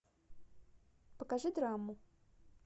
покажи драму